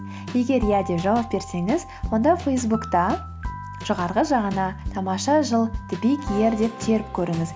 егер иә деп жауап берсеңіз онда фейсбукта жоғарғы жағына тамаша жыл деп теріп көріңіз